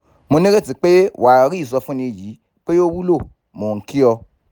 mo nireti pé wàá rí ìsọfúnni yìí pé ó wúlò! mo n ki o